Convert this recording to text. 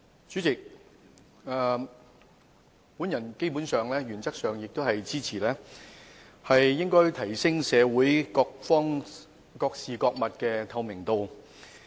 主席，基本上，我原則上支持需提升社會各方、各事及各物的透明度。